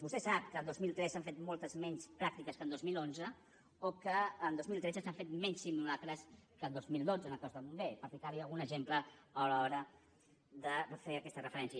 vostè sap que el dos mil tretze s’han fet moltes menys pràctiques que el dos mil onze o que el dos mil tretze s’han fet menys simulacres que el dos mil dotze en el cos de bombers per ficar li algun exemple a l’hora de fer aquesta referència